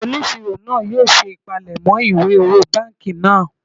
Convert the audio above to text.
Onisiro naa yoo se ipalemo iwe owo banki naa